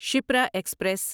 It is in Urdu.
شپرا ایکسپریس